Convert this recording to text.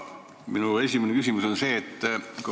Minu esimene küsimus on aga see.